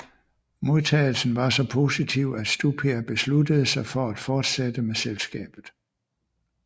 Modtagelsen var så positiv at Stupia besluttede sig for at fortsætte med selskabet